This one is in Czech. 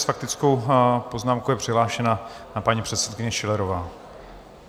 S faktickou poznámkou je přihlášena paní předsedkyně Schillerová.